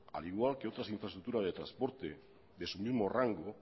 al igual que otras infraestructuras de transporte de su mismo rango